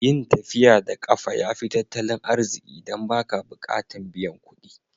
Yin tafiya da kafa ya fi tattalin arziki dan ba ka bukatan biyan kuɗi.